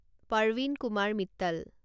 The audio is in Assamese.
পৰৱীন কুমাৰ মিট্টল